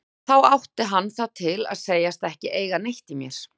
Þá átti hann það til að segjast ekki eiga neitt í mér.